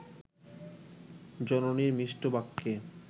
জননীর মিষ্টবাক্যে